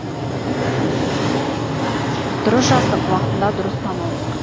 дұрыс жаздық уақытында дұрыс танылдық